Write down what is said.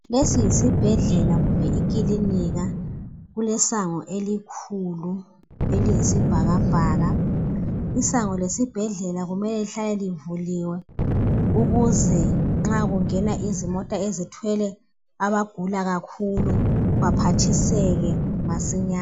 Lesi yisibhedlela kumbe ikilinika, kulesango elikhulu eliyisibhakabhaka. Isango lesibhedlela kumele lihlale livuliwe ukuze nxa kungena izimota ezithwele abagula kakhulu baphathiseke masinyane.